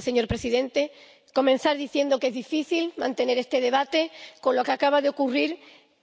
Señor presidente, quiero comenzar diciendo que es difícil mantener este debate con lo que acaba de ocurrir